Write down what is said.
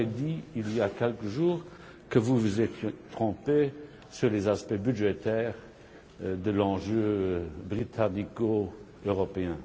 Vous avez dit, il y a quelques jours, que vous vous étiez trompé sur les aspects budgétaires de l'enjeu britannico européen.